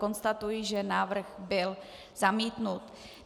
Konstatuji, že návrh byl zamítnut.